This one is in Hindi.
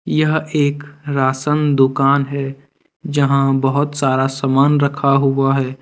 यह एक राशन दुकान है जहां बहुत सारा सामान रखा हुआ हैं।